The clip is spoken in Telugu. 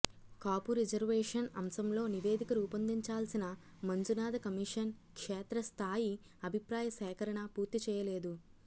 కాపు రిజర్వేషన్ అంశంలో నివేదిక రూపొందించాల్సిన మంజునాథ కమిషన్ క్షేత్రస్థాయి అభిప్రాయసేకరణ పూర్తి చేయలేదు